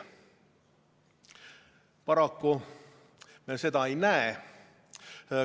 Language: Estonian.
Paraku me seda ei näe.